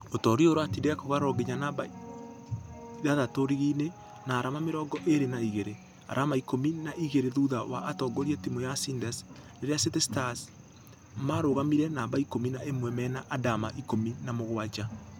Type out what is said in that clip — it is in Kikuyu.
Ũtoria ũyũ ũratindĩka kogalo nginya namba itandatũ rigi-inĩ na arama mĩrongo ĩrĩ na igĩrĩ . Arama ikũmi na igĩrĩ thutha wa atongoria timũ ya ciders rĩrĩa city starss marũgamĩire namba ikũmi na ĩmwe mena adama ikũmi na mũgwaja.